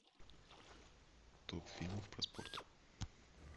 топ фильмов про спорт